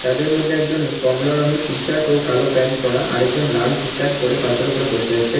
তাদের মধ্যে একজন কমলা রঙের টি-শার্ট ও কালো প্যান্ট পরা আরেকজন লাল টি-শার্ট পরে পাথরের উপরে বসে আছেন।